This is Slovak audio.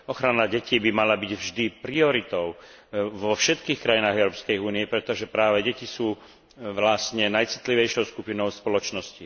Ochrana detí by mala byť vždy prioritou vo všetkých krajinách Európskej únie, pretože práve deti sú vlastne najcitlivejšou skupinou spoločnosti.